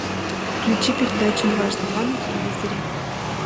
включи передачу дважды два на телевизоре